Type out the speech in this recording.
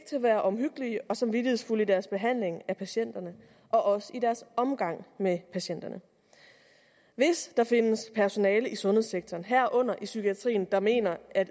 til at være omhyggelige og samvittighedsfulde i deres behandling af patienterne og også i deres omgang med patienterne hvis der findes personale i sundhedssektoren herunder i psykiatrien der mener at